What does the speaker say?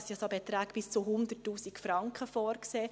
Es wurden Beträge bis zu 100 000 Franken vorgesehen.